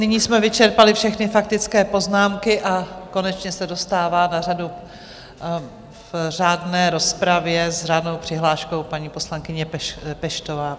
Nyní jsme vyčerpali všechny faktické poznámky a konečně se dostává na řadu v řádné rozpravě s řádnou přihláškou paní poslankyně Peštová.